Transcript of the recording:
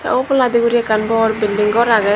te oboladi gori ekkan bor building ghor agey.